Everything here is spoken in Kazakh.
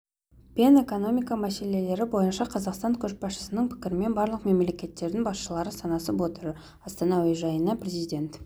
пен экономика мәселелері бойынша қазақстан көшбасшысының пікірімен барлық мемлекеттердің басшылары санасып отыр астана әуежайына президент